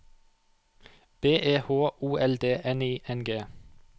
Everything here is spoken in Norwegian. B E H O L D N I N G